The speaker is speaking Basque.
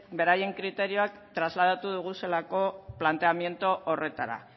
beraien kriterioak trasladatu ditugulako planteamiento horretara